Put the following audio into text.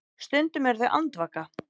Stundum eru þau andvaka.